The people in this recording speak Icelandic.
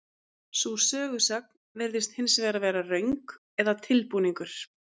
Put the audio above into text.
sú sögusögn virðist hins vegar vera röng eða tilbúningur